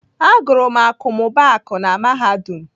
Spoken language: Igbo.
Agụrụ m akọmmụbaaku na Mahadum.